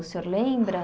O senhor lembra?